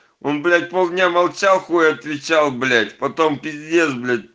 он блять пол дня молчал хуй отвечал блять потом пиздец блять